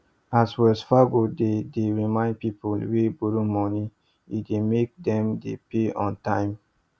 as wells fargo dey dey remind people wey borrow money e dey make them dey pay on time